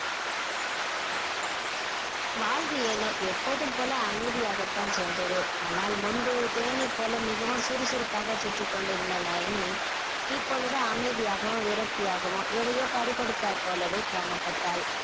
வாழ்வு ஏனோ எப்போதும் போல அமைதியாக தான் சென்றது ஆனால் முன்பு தேனீ போல மிகவும் சுறுசுறுப்பாக சுற்றிக் கொண்டிருந்த நயனி இப்பொழுது அமைதியாகவும் விரக்தியாகவும் எதையோ பறி கொடுத்தார் போலவே காணப்பட்டாள்